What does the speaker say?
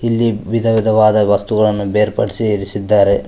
ಇಲ್ಲಿ ವಿಧವಿಧವಾದ ವಸ್ತುಗಳನ್ನು ಬೇರ್ಪಡಿಸಿ ಇರಿಸಿದ್ದಾರೆ.